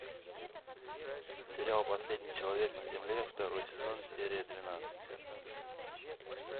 сериал последний человек на земле второй сезон серия двенадцать